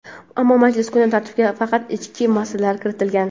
ammo majlis kun tartibiga faqat ichki masalalar kiritilgan.